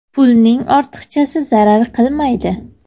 Pulning ortiqchasi zarar qilmaydi.